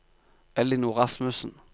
Ellinor Rasmussen